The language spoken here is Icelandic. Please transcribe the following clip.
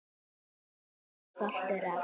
Og yrði jafnvel stoltur af.